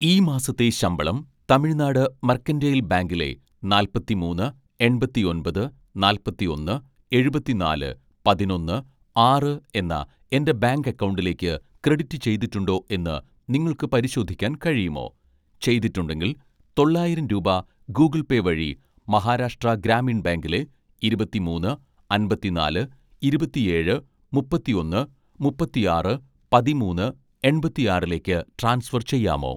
ഈ മാസത്തെ ശമ്പളം തമിഴ്നാട് മെർക്കന്റെയ്ൽ ബാങ്കിലെ നാല്‍പത്തിമൂന്ന് എണ്‍പത്തിഒന്‍പത് നാല്‍പത്തിഒന്ന് എഴുപത്തിനാല് പതിനൊന്ന്‌ ആറ് എന്ന എൻ്റെ ബാങ്ക് അക്കൗണ്ടിലേക്ക് ക്രെഡിറ്റ് ചെയ്തിട്ടുണ്ടോ എന്ന് നിങ്ങൾക്ക് പരിശോധിക്കാൻ കഴിയുമോ, ചെയ്തിട്ടുണ്ടെങ്കിൽ തൊള്ളായിരം രൂപ ഗൂഗിൾ പേ വഴി മഹാരാഷ്ട്ര ഗ്രാമീൺ ബാങ്കിലെ ഇരുപത്തിമൂന്ന് അമ്പത്തിനാല് ഇരുപത്തിഏഴ് മുപ്പത്തിഒന്ന് മുപ്പത്തിആറ് പതിമൂന്ന്‌ എണ്‍പത്തിആറിലേക്ക് ട്രാൻസ്ഫർ ചെയ്യാമോ?